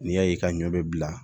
N'i y'a ye ka ɲɔ bɛ bila